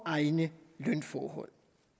egne lønforhold